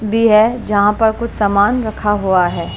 B है। जहां पर कुछ सामान रखा हुआ है।